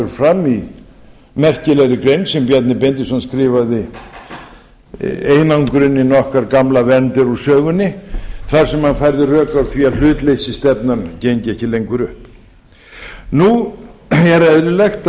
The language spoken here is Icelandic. fram í merkilegri grein sem bjarni benediktsson skrifaði einangrunin okkar gamla vernd er úr sögunni þar sem hann færði rök að því að hlutleysisstefnan gengi ekki lengur upp nú er eðlilegt